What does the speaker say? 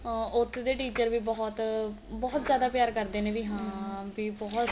ਆ ਉੱਥੋ ਦੇ teacher ਵੀ ਬਹੁਤ ਬਹੁਤ ਜਿਆਦਾ ਪਿਆਰ ਕਰਦੇ ਨੇ ਵੀ ਹਾਂ ਬੀ ਬਹੁਤ